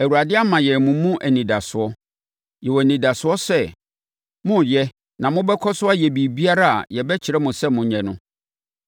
Awurade ama yɛn mo mu anidasoɔ. Yɛwɔ anidasoɔ sɛ moreyɛ na mobɛkɔ so ayɛ biribiara a yɛbɛkyerɛ mo sɛ monyɛ no.